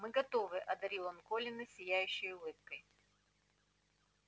мы готовы одарил он колина сияющей улыбкой